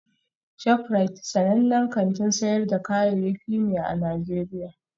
ShopRite sanannen kantin sayar da kayayyaki ne a Najeriya